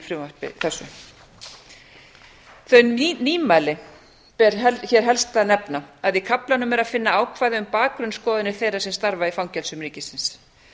frumvarpi þessu þau nýmæli ber hér helst að nefna að í kaflanum er að finna ákvæði um bakgrunnsskoðanir þeirra sem starfa í fangelsum ríkisins